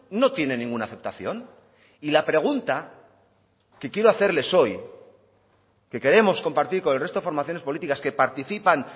no tiene ninguna aceptación y la pregunta que quiero hacerles hoy que queremos compartir con el resto de formaciones políticas que participan